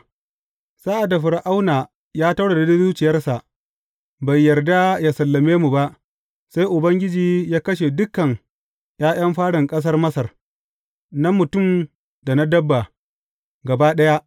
Sa’ad da Fir’auna ya taurare zuciyarsa, bai yarda ya sallame mu ba, sai Ubangiji ya kashe dukan ’ya’yan farin ƙasar Masar, na mutum da na dabba, gaba ɗaya.